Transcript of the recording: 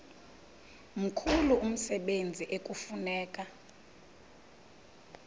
mkhulu umsebenzi ekufuneka